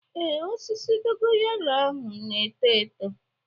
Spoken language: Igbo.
Ee, osisi dogo yaro na-eto eto.